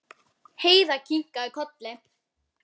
Heiða kinkaði kolli.